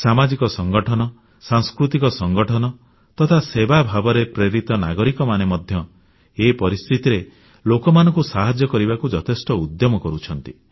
ସାମାଜିକ ସଂଗଠନ ସାଂସ୍କୃତିକ ସଂଗଠନ ତଥା ସେବାଭାବରେ ପ୍ରେରିତ ନାଗରିକମାନେ ମଧ୍ୟ ଏ ପରିସ୍ଥିତିରେ ଲୋକମାନଙ୍କୁ ସାହାଯ୍ୟ କରିବାକୁ ଯଥେଷ୍ଟ ଉଦ୍ୟମ କରୁଛନ୍ତି